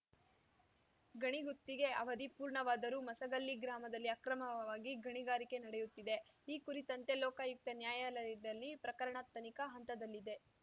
ಗಣಿಗುತ್ತಿಗೆ ಅವಧಿ ಪೂರ್ಣವಾದರೂ ಮಸಗಲ್ಲಿ ಗ್ರಾಮದಲ್ಲಿ ಅಕ್ರಮವಾಗಿ ಗಣಿಗಾರಿಕೆ ನಡೆಯುತ್ತಿದೆ ಈ ಕುರಿತಂತೆ ಲೋಕಾಯುಕ್ತ ನ್ಯಾಯಾಲಯದಲ್ಲಿ ಪ್ರಕರಣ ತನಿಖಾ ಹಂತದಲ್ಲಿದೆ